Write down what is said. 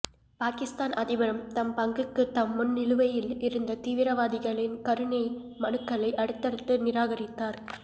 பாகிஸ்தான் அதிபரும் தம் பங்குக்கு தம் முன் நிலுவையில் இருந்த தீவிரவாதிகளின் கருணை மனுக்களை அடுத்தடுத்து நிராகரித்தார்